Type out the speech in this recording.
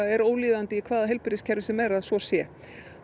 er ólíðandi í hvaða heilbrigðiskerfi sem er að svo sé